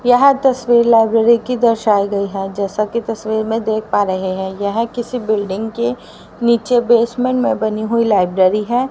यह तस्वीर लाइब्रेरी की दर्शाई गई है जैसा की तस्वीर में देख पा रहे हैं यह किसी बिल्डिंग के नीचे बेसमेंट में बनी हुई लाइब्रेरी है।